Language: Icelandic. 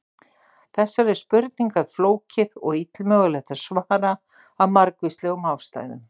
Þessari spurningu er flókið og illmögulegt að svara af margvíslegum ástæðum.